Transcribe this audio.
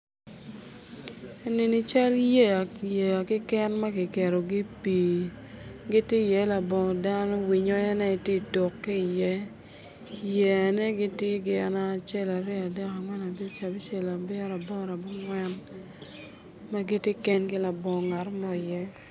Enini cal yeya keken ma kiketogi i pii giti iye labongi dano winyo en aye ti tuk ki iye ki yeyane tye gin acel aryo adek angwen abic abicel abiro aboro abongwen giti kengi labongi ngatomo iye